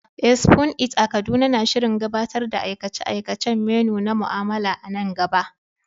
Eh, Spoon It a Kaduna na shirin gabatar da aikace-aikacen menu na mu'amala a nan gaba.